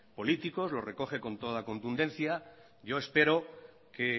políticos lo recoge con toda contundencia yo espero que